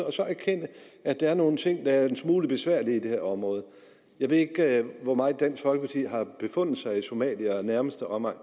og så erkende at der er nogle ting der er en smule besværlige i det her område jeg ved ikke hvor meget dansk folkeparti har befundet sig i somalia og nærmeste omegn